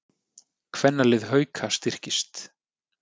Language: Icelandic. Kvennalið Hauka styrkist